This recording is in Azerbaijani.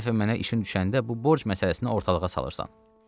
Hər dəfə mənə işin düşəndə bu borc məsələsini ortalığa salırsan.”